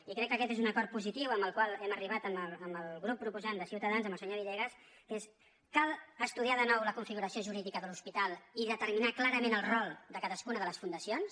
i crec que aquest és un acord positiu al qual hem arribat amb el grup proposant de ciutadans amb el senyor villegas que és cal estudiar de nou la configuració jurídica de l’hospital i determinar clarament el rol de cadascuna de les fundacions